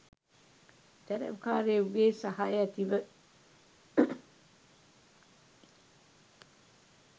තැ‍රැව්කාරයෙකුගේ සහය ඇතිව